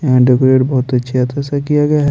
यहाँ डेकोरेट बहुत अच्छा सा किया गया है।